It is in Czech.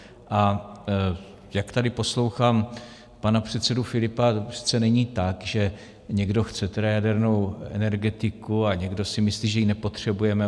A jak tady poslouchám pana předsedu Filipa, to přece není tak, že někdo chce jadernou energetiku a někdo si myslí, že ji nepotřebujeme.